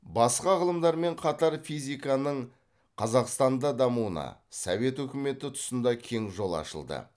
басқа ғылымдармен қатар физиканың қазақстанда дамуына совет өкіметі тұсында кең жол ашылды